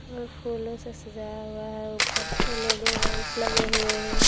फूलों से सजाया हुआ है ऊपर से एल.ई.डी बल्ब लगे हुए हैं।